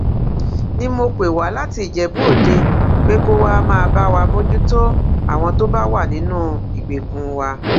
ni mo pè wá láti ìjẹbúòde pé kó wàá máa bá wa mójútó àwọn tó bá wà nínú ìgbèkùn wa